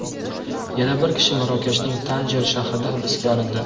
Yana bir kishi Marokashning Tanjer shahrida hibsga olindi.